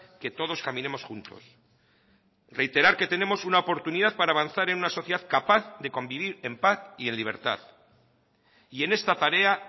que todos caminemos juntos reiterar que tenemos una oportunidad para avanzar en una sociedad capaz de convivir en paz y en libertad y en esta tarea